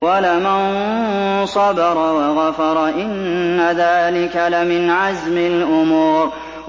وَلَمَن صَبَرَ وَغَفَرَ إِنَّ ذَٰلِكَ لَمِنْ عَزْمِ الْأُمُورِ